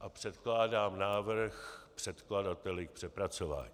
a předkládám návrh předkladateli k přepracování.